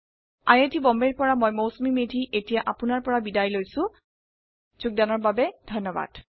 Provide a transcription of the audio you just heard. I I T Bombay ৰ পৰা মই মৌচুমী মেধী এতিয়া আপুনাৰ পৰা বিদায় লৈছো যোগদানৰ বাবে ধন্যবাদ